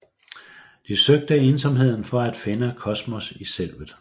De søgte ensomheden for at finde kosmos i selvet